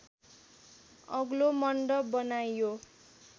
अग्लो मन्डप बनाइयो